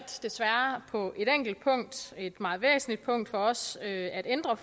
på et enkelt punkt et meget væsentligt punkt for os at ændre